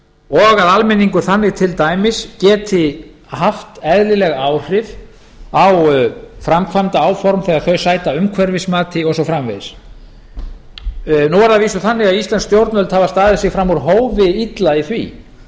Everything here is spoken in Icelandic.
og að almenningur þannig til dæmis geti haft eðlileg áhrif á framkvæmdaáform þegar þau sæta umhverfismati og svo framvegis nú er það að vísu þannig að íslensk stjórnvöld hafa staðið sig fram úr hófi illa í því